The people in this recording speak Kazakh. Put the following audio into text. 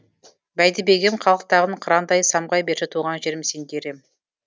бәйдібегім қалықтағын қырандай самғай берші туған жерім сен дер ем